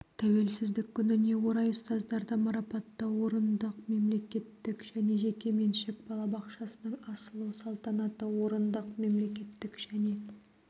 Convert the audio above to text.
тәуелсіздік күніне орай ұстаздарды марапаттау орындық мемлекеттік және жеке меншік балабақшасының ашылу салтанаты орындық мемлекеттік және